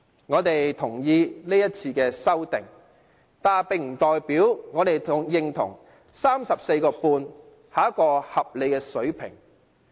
我們贊同今次的修訂，但不代表我們認同 34.5 元是一個合理的水平。